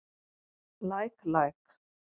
Læk læk.